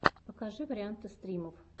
покажи варианты стримов